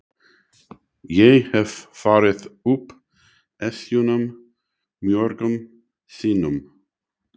Ég hef farið upp Esjuna mörgum sinnum.